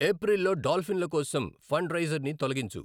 ఏప్రిల్లో డాల్ఫిన్ల కోసం ఫండ్ రైజర్ని తొలగించు